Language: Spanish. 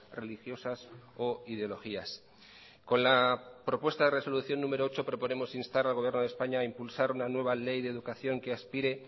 religiosas o ideologías con la propuesta de resolución número ocho proponemos instar al gobierno de españa a impulsar una nueva ley de educación que aspire